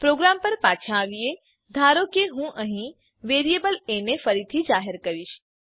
programme પર પાછા આવીએ ધારો કે હું અહીં વેરીએબલ એ ને ફરીથી જાહેર કરીશ